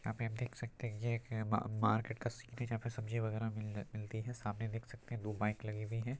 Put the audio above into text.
आप देख सकते है यह एक मार्केट का सीन है जहाँ पे सब्जी वगेरह मिली मिलती है सामने दो बाईक लगी हुयी है।